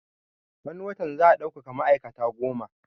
Wani watan za a daukaka ma'aikata goma